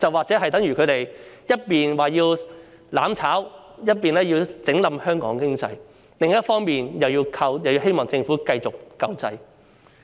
這就等於他們一邊廂說要"攬炒"，要拖垮香港經濟，另一邊廂卻又希望繼續得到政府救濟。